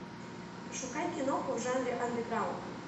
пошукай киноху в жанре андеграунд